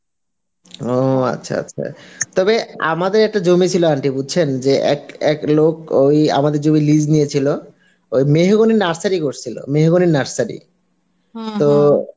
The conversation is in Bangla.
ও আচ্ছা আচ্ছা, তবে আমাদের একটা জমি ছিল aunty বুঝছেন যে এক এক লোক ওই আমাদের জমির lease নিয়ে ছিল ওই মেহগনির নার্সারি করেছিল মেহগনি নার্সারি